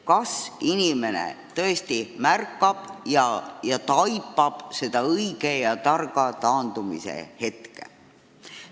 Kas inimene tõesti tabab ise ära selle õige ja targa taandumise hetke?